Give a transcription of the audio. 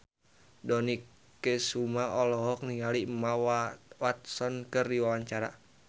Dony Kesuma olohok ningali Emma Watson keur diwawancara